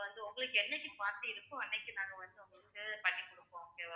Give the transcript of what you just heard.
உங்களுக்கு என்னைக்கு party இருக்கோ அன்றைக்கு நாங்க வந்து உங்களுக்கு பண்ணி குடுப்போம் okay வா